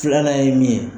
Filanan ye min ye